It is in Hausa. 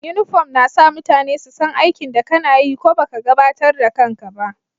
Uniform na sa mutane su san aikin da kana yi ko baka gabatar da kan ka ba.